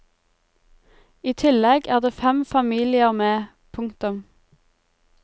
I tillegg er det fem familier med. punktum